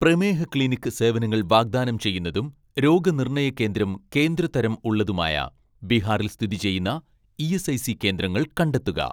പ്രമേഹ ക്ലിനിക്ക് സേവനങ്ങൾ വാഗ്‌ദാനം ചെയ്യുന്നതും രോഗനിർണയ കേന്ദ്രം കേന്ദ്ര തരം ഉള്ളതുമായ ബീഹാറിൽ സ്ഥിതി ചെയ്യുന്ന ഇ.എസ്.ഐ.സി കേന്ദ്രങ്ങൾ കണ്ടെത്തുക.